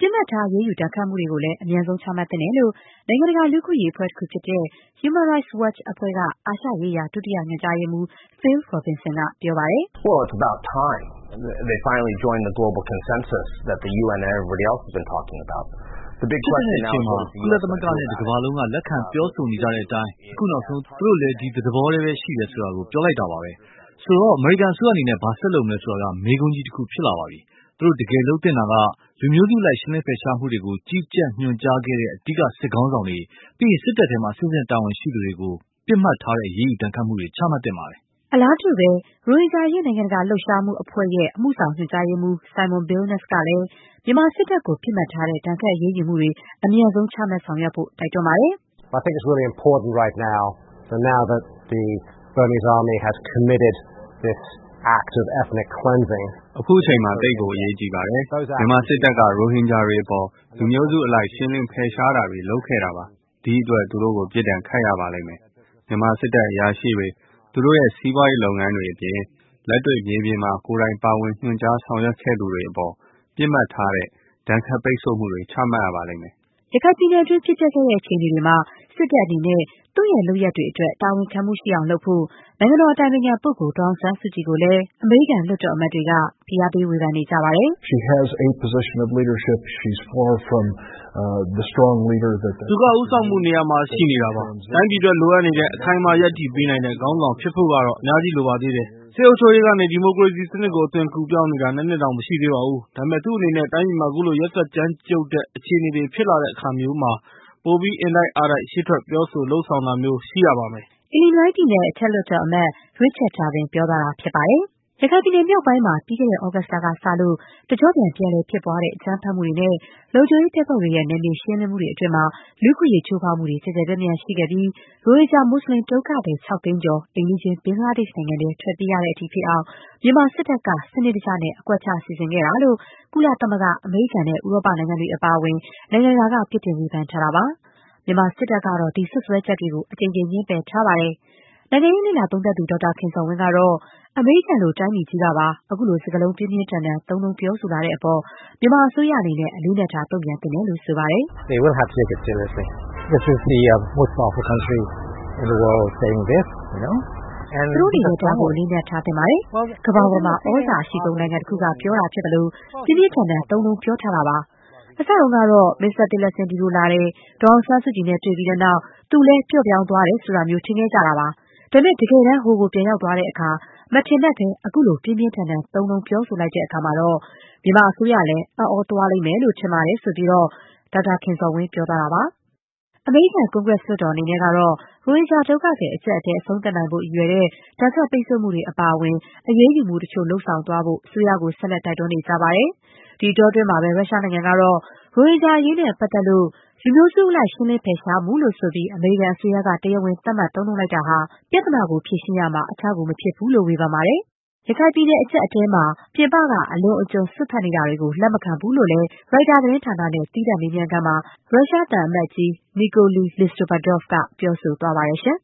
ပစ်မှတ်ထား အရေးယူ ဒဏ်ခတ်မှုတွေကိုလည်း အမြန်ဆုံး ချမှတ်သင့်တယ်လို့ နိုင်ငံတကာ လူ့အခွင့်အရေး အဖွဲ့တခုဖြစ်တဲ့ Human Rights Watch အဖွဲ့က အာရှရေးရာ ဒုတိယညွှန်ကြားရေးမှူး Phil Robertson က ပြောပါတယ်။ "ဖြစ်သင့်တဲ့အချိန်ပါ။ ကုလသမဂ္ဂနဲ့ တကမ္ဘာလုံးက လက်ခံ ပြောဆိုနေကြတဲ့အတိုင်း အခုနောက်ဆုံး သူတို့လည်း ဒီသဘောအတိုင်းပဲ ရှိတယ် ဆိုတာ ပြောလိုက်တာပါပဲ။ ဆိုတော့ အမေရိကန်အစိုးရအနေနဲ့ ဘာဆက်လုပ်မလဲ ဆိုတာက မေးခွန်းကြီးတခု ဖြစ်လာပါပြီ။ သူတို့ တကယ် လုပ်သင့်တာကတော့ - လူမျိုးစုအလိုက် ရှင်းလင်းဖယ်ရှားမှုတွေကို ကြီးကြပ်ညွှန်ကြားခဲ့ကြတဲ့ အဓိက စစ်ခေါင်းဆောင်တွေ၊ ပြီးရင် စစ်တပ်ထဲမှာ အဆင့်ဆင့် တာဝန်ရှိသူတွေကို ပစ်မှတ်ထားတဲ့ အရေးယူဒဏ်ခတ်မှုတွေ ချမှတ်သင့်ပါတယ်။” အလားတူပဲ ရိုဟင်ဂျာအရေး နိုင်ငံတကာလှုပ်ရှားမှုအဖွဲ့ အမှုဆောင်ညွှန်ကြားရေးမှူး Simon Billenness ကလည်း မြန်မာစစ်တပ်ကို ပစ်မှတ်ထားတဲ့ အရေးယူဒဏ်ခတ်မှုတွေ အမြန်ဆုံး ချမှတ်ဆောင်ရွက်ဖို့ တိုက်တွန်းကြောင်း ပြောဆိုပါတယ်။ “ခုချိန်မှာ သိပ်ကို အရေးကြီးပါတယ်။ မြန်မာစစ်တပ်က ရိုဟင်ဂျာတွေအပေါ် လူမျိုးစုအလိုက် ရှင်းလင်းဖယ်ရှားတာတွေ လုပ်ခဲ့တာပါ။ ဒီအတွက် သူတို့ကို ပစ်ဒဏ်ခတ်ရပါလိမ့်မယ်။ မြန်မာစစ်တပ် အရာရှိတွေ၊ သူတို့ရဲ့ စီးပွားရေးလုပ်ငန်းတွေအပြင် လက်တွေ့ မြေပြင်မှာ ကိုယ်တိုင် ပါဝင် ညွှန်ကြားဆောင်ရွက်ခဲ့ကြသူတွေအပေါ် ပစ်မှတ်ထားတဲ့ ဒဏ်ခတ် ပိတ်ဆို့မှုတွေ ချမှတ်ရပါလိမ့်မယ်။” ရခိုင်ပြည်နယ်တွင်း ဖြစ်ပျက်ခဲ့တဲ့ အခြေအနေတွေမှာ စစ်တပ်အနေနဲ့ သူ့ရဲ့လုပ်ရပ်တွေအတွက် တာဝန်ခံမှုရှိအောင် လုပ်ဖို့ နိုင်ငံတော် အတိုင်ပင်ခံပုဂ္ဂိုလ် ဒေါ်အောင်ဆန်းစုကြည် ကိုလည်း အမေရိကန် လွှတ်တော်အမတ်တွေက ဖိအားပေး ဝေဖန်နေကြတာပါ။ “သူက ဦးဆောင်မှုနေရာမှာ ရှိနေတာပါ။ တိုင်းပြည်အတွက် လိုအပ်နေတဲ့၊ အခိုင်အမာ ရပ်တည်ပေးနိုင်တဲ့ ခေါင်းဆောင် ဖြစ်ဖို့ကတော့ အများကြီး လိုပါသေးတယ်။ စစ်အုပ်ချုပ်ရေးကနေ ဒီမိုကရေစီစနစ်ကို အသွင်ကူးပြောင်းနေတာ ၂ နှစ်တောင် မရှိသေးပါဘူး။ ဒါပေမဲ့ သူ့အနေနဲ့ တိုင်းပြည်မှာ ခုလို ရက်စက်ကြမ်းကြုတ်တဲ့အခြေအနေတွေ ဖြစ်လာတဲ့အခါမျိုးမှာ ပိုပြီး အင်တိုက်အားတိုက် ရှေ့ထွက် ပြောဆို လုပ်ဆောင်တာမျိုး ရှိရပါမယ်။” ရခိုင်ပြည်နယ်မြောက်ပိုင်းမှာ ပြီးခဲ့တဲ့ သြဂုတ်လကစလို့ တကျော့ ပြန်လည်ဖြစ်ပွားတဲ့ အကြမ်းဖက်မှုတွေနဲ့ လုံခြုံရေးတပ်ဖွဲ့တွေရဲ့ နယ်မြေရှင်းလင်းမှုတွေအတွင်း လူ့အခွင့်အရေး ချိုးဖောက်မှုတွေ ကျယ်ကျယ်ပြန့်ပြန့် ရှိခဲ့ပြီး ရိုဟင်ဂျာ မူစလင် ဒုက္ခသည် ၆ သိန်းကျော် အိမ်နီးချင်း ဘင်္ဂလားဒေ့ရှ် နိုင်ငံထဲ ထွက်ပြေးရတဲ့အထိ ဖြစ်အောင် မြန်မာစစ်တပ်က စနစ်တကျ အကွက်ချ လုပ်ခဲ့တာလို့ ကုလသမဂ္ဂ၊ အမေရိကန်နဲ့ ဥရောပနိုင်ငံတွေ အပါအဝင် နိုင်ငံတကာက ပြစ်တင်ဝေဖန်ထားတာပါ။ မြန်မာစစ်တပ်ကတော့ ဒီစွပ်စွဲချက်တွေကို အကြိမ်ကြိမ် ငြင်းပယ်ထားပါတယ်။ နိုင်ငံရေး လေ့လာသုံးသပ်သူ ဒေါက်တာ ခင်ဇော်ဝင်း ကတော့ - အမေရိကန်လို တိုင်းပြည်ကြီးပါက ခုလို စကားလုံး ပြင်းပြင်းထန်ထန် သုံးနှုန်း ပြောဆိုလာတဲ့အပေါ် မြန်မာအစိုးရ အနေနဲ့ အလေးအနက်ထား တုံ့ပြန်သင့်တယ်လို့ ဆိုပါတယ်။ "သူတို့အနေနဲ့ ဒါကို အလေးအနက် ထားသင့်ပါတယ်။ ကမ္ဘာပေါ်မှာ သြဇာအရှိဆုံး နိုင်ငံတခုက ပြောတာဖြစ်သလို၊ ပြင်းပြင်းထန်ထန် သုံးနှုန်းထားတာပါ။ အစတုန်းကတော့ မစ္စတာ Tillerson ဒီကို လာတယ်၊ ဒေါ်အောင်ဆန်းစုကြည်နဲ့ တွေ့ပြီးတဲ့နောက် သူလည်း ပျော့သွားတယ်လို့တောင် ထင်ခဲ့ကြတာပါ။ ဒါပေမဲ့ တကယ်တမ်း ဟိုကို ပြန် ရောက်သွားတဲ့အခါ… မထင်မှတ်ဘဲ ခုလို ပြင်းပြင်းထန်ထန် သုံးနှုန်းပြောလိုက်တော့ သူတို့လည်း (မြန်မာအစိုးရလည်း) အံ့သြသွားလိမ့်မယ်လို့ ကျနော် ထင်ပါတယ်။” အမေရိကန် ကွန်ဂရက် လွှတ်တော်အနေနဲ့ကတော့ ရိုဟင်ဂျာဒုက္ခသည် အကျပ်အတည်း အဆုံးသတ်နိုင်ဖို့ ရည်ရွယ်တဲ့ ဒဏ်ခတ် ပိ်တ်ဆို့မှုတွေ အပါအဝင် အရေးယူမှုတချို့ လုပ်သွားဖို့ အစိုးရကို ဆက်လက် တိုက်တွန်း နေကြပါတယ်။ ဒီအတောအတွင်း ရုရှားနိုင်ငံကတော့ - ရိုဟင်ဂျာအရေးနဲ့ပတ်သက်လို့ လူမျိုးစုအလိုက် ရှင်းလင်းဖယ်ရှားမှုလို့ ဆိုပြီး အမေရိကန် အစိုးရက တရားဝင် သတ်မှတ်လိုက်တာဟာ ပြဿနာကို ဖြေရှင်းရာမှာ အထောက်အကူ မဖြစ်ဘူးလို့ ဝေဖန်လိုက်ပါတယ်။ ရခိုင်ပြည်နယ်က အကျပ်အတည်းကို ဖြေရှင်းရာမှာ ပြင်ပက အလွန်အကျွံ စွက်ဖက်နေတာတွေကို လက်မခံနိုင်ဘူးလို့လည်း Reuters သတင်းဌာနနဲ့ သီးသန့်မေးမြန်းခန်းမှာ ရုရှားသံအမတ်ကြီး Nikolay Listopadov က ပြောဆိုသွားပါတယ်။